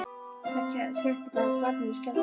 Það sem skemmti barninu skelfdi okkur.